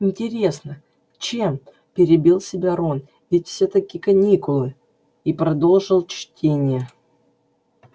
интересно чем перебил себя рон ведь всё-таки каникулы и продолжил чтение